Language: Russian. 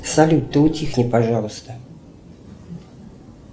салют ты утихни пожалуйста